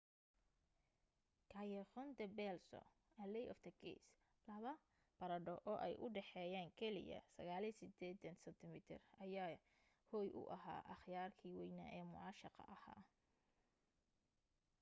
callejon del beso alley of the kiss. laba barandho oo ay u dhexeyeen keliya 69 sentimitir ayaa hoy u ah akhyaarkii waynaa ee mucaashaqa ahaa